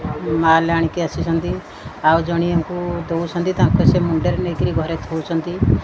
ମାଲ୍ ଆଣିକ ଆସିଛନ୍ତି ଆଉ ଜଣିଏକୁ ଦଉଛନ୍ତି ତାଙ୍କ ସେ ମୁଣ୍ଡରେ ନେଇକିରି ଘରେ ଥୁ ଚନ୍ତି।